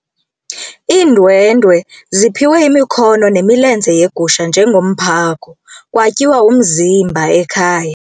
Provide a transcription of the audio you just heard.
Iindwendwe ziphiwe imikhono nemilenze yegusha njengomphako kwatyiwa umzimba ekhaya.